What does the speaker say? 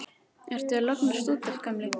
Ertu að lognast út af, gamli?